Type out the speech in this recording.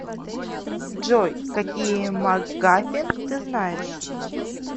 джой какие макгафин ты знаешь